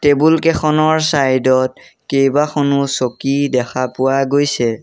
Table কেইখনৰ side ত কেইবাখনো চকী দেখা পোৱা গৈছে।